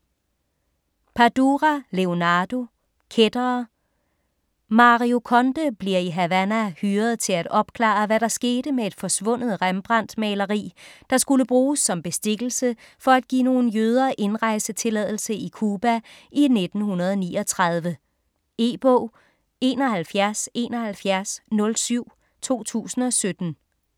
Padura, Leonardo: Kættere Mario Conde bliver i Havana hyret til at opklare, hvad der skete med et forsvundet Rembrandt-maleri, der skulle bruges som bestikkelse for at give nogle jøder indrejsetilladelse i Cuba i 1939. E-bog 717107 2017.